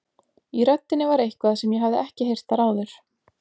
Í röddinni var eitthvað sem ég hafði ekki heyrt þar áður.